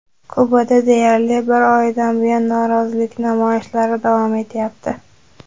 Kubada deyarli bir oydan buyon norozilik namoyishlari davom etyapti.